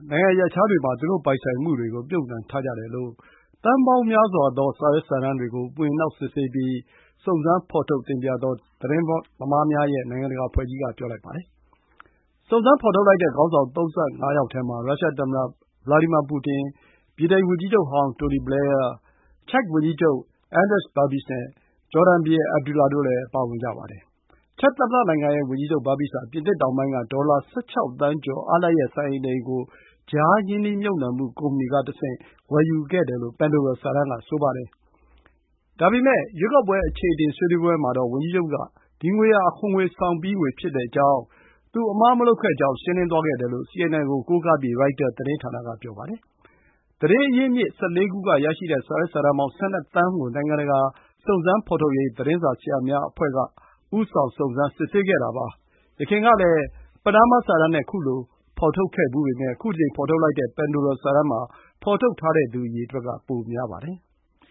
နိုင်ငံရပ်ခြားတွေမှာ သူတို့ ပိုင်ဆိုင်မှုတွေကို မြှုပ်နှံထားကြတယ်လို့ သန်းပေါင်းများစွာသော စာရွက်စာတမ်းတွေကို မွှေနှောက် စစ်ဆေးပြီး စုံစမ်းဖော်ထုတ်တင်ပြတဲ့ သတင်းသမားများရဲ့ နိုင်ငံတကာအဖွဲ့ကြီးက ပြောလိုက်ပါတယ်။ စုံစမ်းဖော်ထုတ်လိုက်တဲ့ ခေါင်းဆောင် ၃၅ ယောက်ထဲမှာ ရုရှားသမ္မတ Vladimir Putin၊ ဗြိတိန်ဝန်ကြီးချုပ်ဟောင်း Tony Blair၊ Czech ဝန်ကြီးချုပ် Andrej Babis နဲ့ ဂျော်ဒန်ဘုရင် Abdullah တို့လည်းပါဝင်ကြပါတယ်။ချက် သမ္မတနိုင်ငံရဲ့ ဝန်ကြီးချုပ် Babis ဟာ ပြင်သစ်တောင်ပိုင်းက ဒေါ်လာ ၁၆ သန်းကျော် အားလပ်ရက် စံအိမ် ၂ အိမ်ကို ကြားခံ ရင်းနှီးမြှုပ်နှံမှုကုမ္ပဏီကတဆင့် ဝယ်ယူခဲ့တယ်လို့ ပန်ဒိုလာစာတမ်းက ဆိုပါတယ်။ ရွေးကောက်ပွဲ အချေအတင် ဆွေးနွေးပွဲမှာတော့ ဝန်ကြီးချုပ်က ဒီငွေဟာ အခွန်ဆောင်ပြီးငွေ ဖြစ်ကြောင်း၊ သူ အမှားမလုပ်ခဲ့ကြောင်း ရှင်းလင်းသွားခဲ့တယ်လို့ ရိုက်တာ သတင်းဌာန က ပြောပါတယ်။ သတင်းရင်းမြစ် ၁၄ ခု က ရရှိတဲ့ စာရွက်စာတမ်းပေါင်း ၁၂ သန်းကို နိုင်ငံတကာ စုံစမ်းဖော်ထုတ်ရေး သတင်းစာဆရာများအဖွဲ့ကြီးက ဦးဆောင် စုံစမ်း စစ်ဆေးခဲ့တာပါ။ဒီ အဖွဲ့ကြီးမှာ အဖွဲ့ဝင် သတင်းစာဆရာ ၆၅၀ ရှိပါတယ်။ ယခင်ကလည်း Panama စာတမ်းနဲ့ ခုလို ဖော်ထုတ်ခဲ့ဖူးပေမယ့် ခု တကြိမ် ဖော်ထုတ်လိုက်တဲ့ Pandora စာတမ်းမှာ ဖော်ထုတ်ထားတဲ့သူ အရေအတွက်က ပိုများပါတယ်။